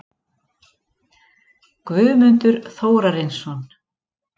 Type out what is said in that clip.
Guðmundur Þórarinsson